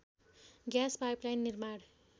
gas pipeline निर्माण